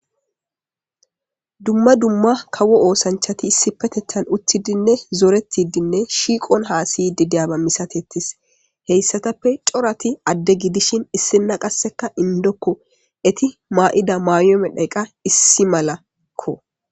dumma dumma kawo oosanchati issi petetan uttidinne zoretidinne shiiqon haasiydidiyaba misatettis heyssatappe corati adde gidishin issina qasseka indokko eti maa7ida mayoome dhayqa issi malakko